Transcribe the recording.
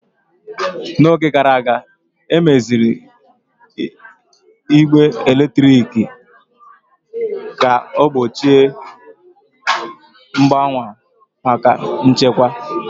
N'oge gara aga, emeziri igbe eletrik ka ọ bụrụ mgbochi mgbawa maka nchekwa.